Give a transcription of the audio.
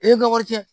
E ye wari cɛn